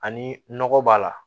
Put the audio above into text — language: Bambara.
Ani nɔgɔ b'a la